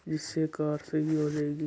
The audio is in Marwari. इस कार से ये --